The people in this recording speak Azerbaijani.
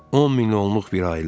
10 milyonluq bir ailə.